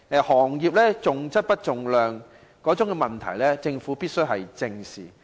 行業重量不重質的問題，政府必須正視。